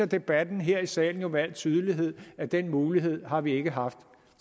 debatten her i salen viser jo med al tydelighed at den mulighed har vi ikke haft